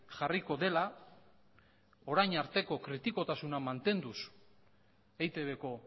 jarriko dela orain arteko kritikotasuna mantenduz eitbko